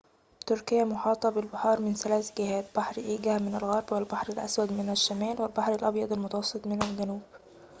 تركيا محاطة بالبحار من ثلاث جهات: بحر إيجه من الغرب ، والبحر الأسود من الشمال والبحر الأبيض المتوسط من الجنوب